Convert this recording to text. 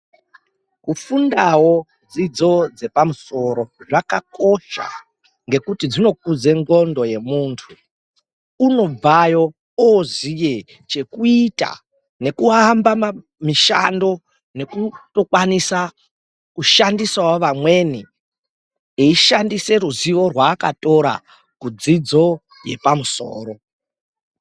Kufundawo dzidzo dzepamusoro zvakakosha ngekuti dzinokudza ndxondo yemunhu muntu unobveyoo oziya chokuita nokuamba mishando nekutokwanisawo kushandisa vamweni ishandisa ruzivo rwaaakatora kudzidzo yepamusoro .